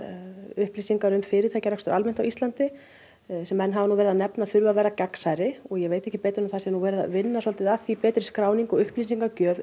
upplýsingar um fyrirtækjarekstur almennt á Íslandi sem menn hafa verið að nefna að þurfi að vera gagnsærri og ég veit ekki betur en að það sé verið að vinna að því betri skráningu og upplýsingagjöf